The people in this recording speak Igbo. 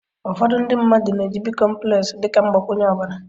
ụfọdụ ndị mmadụ na-eji bicomplex dị ka mgbakwunye ọbara